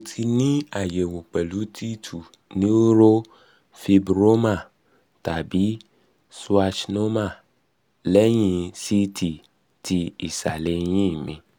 mo um ti ni ayẹwo pẹlu t2 neurofibroma tabi schwannoma lẹhin ct ti isale eyin mi